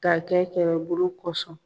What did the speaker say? Ka kɛ kɛlɛbolo kɔsɔn